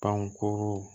Pankuru